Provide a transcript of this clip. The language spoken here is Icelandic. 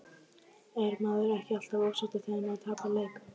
Er maður ekki alltaf ósáttur þegar maður tapar leik?